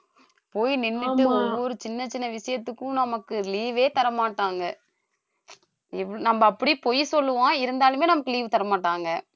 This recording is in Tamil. போய் நின்னுட்டு ஒவ்வொரு சின்ன சின்ன விஷயத்துக்கும் நமக்கு leave ஏ தர மாட்டாங்க நம்ம அப்படி பொய் சொல்லுவோம் இருந்தாலுமே நமக்கு leave தர மாட்டாங்க